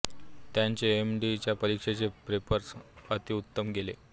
त्यांचे M D च्या परीक्षेचे पेपर्स अत्युत्तम गेले